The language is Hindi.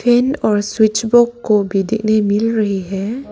पिन और स्विच बॉक्स भी देखने को मिल रही है।